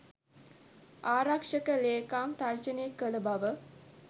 ආරක්ෂක ලේකම් තර්ජනය කළ බව